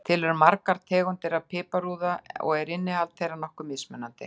Til eru margar tegundir af piparúða og er innihald þeirra nokkuð mismunandi.